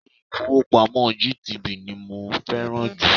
Ilé-ifowopamo GTB ni mo fẹ́ràn jù.